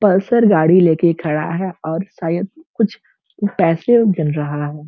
Pulsar गाड़ी लेके खड़ा है और शायद कुछ पैसे गिन रहा है।